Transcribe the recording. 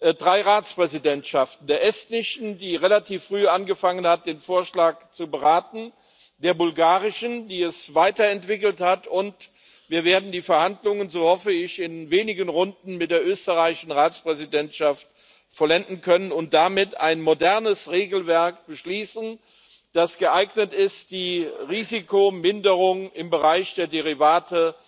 drei Ratspräsidentschaften Dank sagen der estnischen, die relativ früh angefangen hat, den Vorschlag zu beraten, der bulgarischen, die ihn weiterentwickelt hat, und wir werden die Verhandlungen, so hoffe ich, in wenigen Runden mit der österreichischen Ratspräsidentschaft vollenden können und damit ein modernes Regelwerk beschließen, das geeignet ist, die Risikominderung im Bereich der Derivate